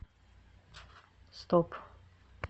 стоп